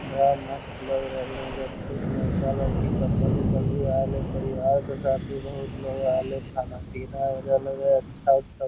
बड़ा मस्त लग रहले है एजा बहुत लड़का-लड़की कपल उपल भी आइलो परिवार के साथ भी बहुत लोग आइलो खाना-पीना हो रहले हो अच्छा-अच्छा।